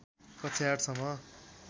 कक्षा ८ सम्म